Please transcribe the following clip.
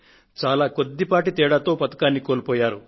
చాలా కొద్దిపాటి తేడాతో పతకాన్ని కోల్పోయారు